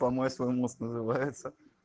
помой свой мозг называется